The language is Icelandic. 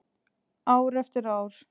Ár eftir ár.